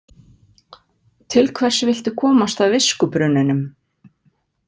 Til hvers viltu komast að viskubrunninum?